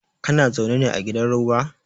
Kana zaune ne a gidan roba?